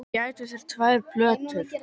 Þið gætuð þurft tvær plötur.